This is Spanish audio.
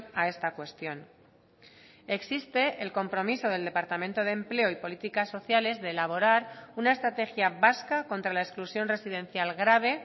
a esta cuestión existe el compromiso del departamento de empleo y políticas sociales de elaborar una estrategia vasca contra la exclusión residencial grave